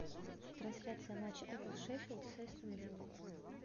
трансляция матча апл шеффилд с астон виллой